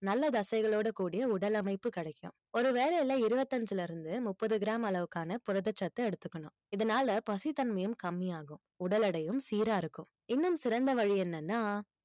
நல்ல தசைகளோடு கூடிய உடல் அமைப்பு கிடைக்கும் ஒருவேளைல இருபத்தி ஐந்துல இருந்து முப்பது gram அளவுக்கான புரதச்சத்தை எடுத்துக்கணும் இதனால பசித்தன்மையும் கம்மியாகும் உடல் எடையும் சீராக இருக்கும் இன்னும் சிறந்த வழி என்னன்னா